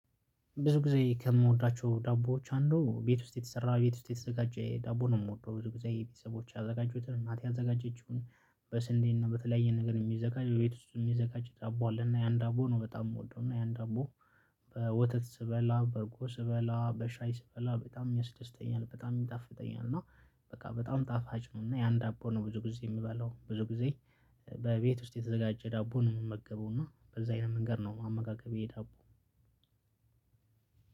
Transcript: ብዙ ጊዜ ከምወዳቸው ዳቦዎች አንዱ ቤት ውስጥ የተሰራ ቤት ውስጥ የተዘጋጀ ዳቦ ነው የምወደው ብዙ ጊዜ የቤተሰቦች ያዘጋጁትን እናቴ ያዘጋጀችውን በስንዴና በተለያየ ነገር የሚዘጋጅ የቤት ውስጥ የሚዘጋጅ ያንን ዳቦ አለ እና ያንን ዳቦ ነው በጣም የምወደው እና ያን ዳቦ በወተት ስበላ በርጎ ስበላ በሻይ ስበላ በጣም ያስደስተኛል በጣም ይጣፍጠኛል። እና በቃ በጣም ጣፋጭ ነው። እና የአንድ ዳቦ ነው ብዙ ጊዜ የምበላው ብዙ ጊዜ በቤት ውስጥ የተዘጋጀ ዳቦ ነው የምመገበው። እና በዛ አይነት መንገድ ነው አመጋገብ የዳቦ